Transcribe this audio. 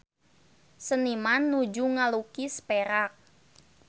Seniman nuju ngalukis Perak